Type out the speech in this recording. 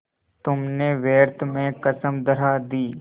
तुमने व्यर्थ में कसम धरा दी